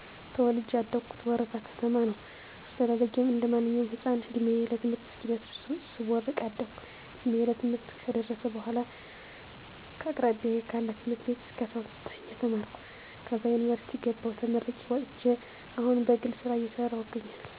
ተወልጀ ያደኩት ወረታ ከተማ ነው። አስተዳደጌም እንደማንኛውም ህፃን እድሜየ ለትምህርት እስኪደርስ ሰቦርቅ አደኩ እንድሜየ ለትምህርት ከደረሰበኃላ ከአቅራቢያየ ካለ ትምህርት ቤት እስከ 12 ተማርኩ ከዛ ዩንቨርስቲ ገባሁ ተመርቄ ወጥቸ አሁን በግሌ ስራ እየሰራሁ እገኛለሁ።